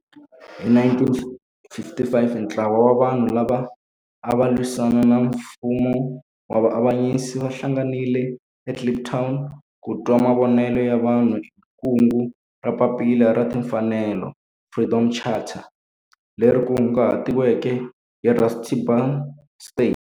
Hi 1955 ntlawa wa vanhu lava ava lwisana na nfumo wa avanyiso va hlanganile eKliptown ku twa mavonelo ya vanhu hi kungu ra Papila ra Tinfanelo, Freedom Charter leri kunguhatiweke hi Rusty Bernstein.